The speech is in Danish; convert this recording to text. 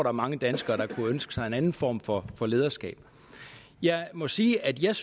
er mange danskere der kunne ønske sig en anden form for for lederskab jeg må sige at jeg